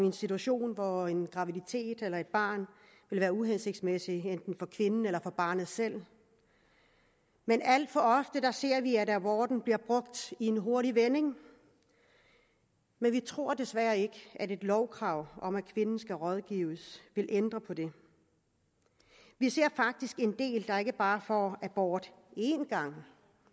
en situation hvor en graviditet eller et barn vil være uhensigtsmæssig enten for kvinden eller for barnet selv men alt for ofte ser vi at aborten bliver brugt i en hurtig vending vi tror desværre ikke at et lovkrav om at kvinden skal rådgives vil ændre på det vi ser faktisk en del der ikke bare får abort én gang